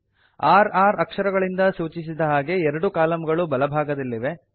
r r ಅಕ್ಷರಗಳಿಂದ ಸೂಚಿಸಿದ ಹಾಗೆ ಎರಡು ಕಾಲಂಗಳು ಬಲಭಾಗದಲ್ಲಿವೆ